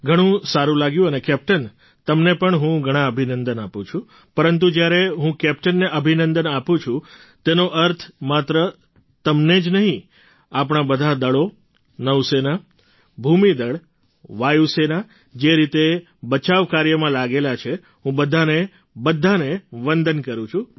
ઘણું સારું લાગ્યું અને કેપ્ટન તમને પણ હું ઘણા અભિનંદન આપું છું પરંતુ જ્યારે હું કેપ્ટનને અભિનંદન આપું છું તેનો અર્થ માત્ર તમને જ નહીં આપણાં બધાં દળો નૌ સેના ભૂમિ દળ વાયુ સેના જે રીતે બચાવ કાર્યમાં લાગેલા છે હું બધાને બધાને વંદન કરું છું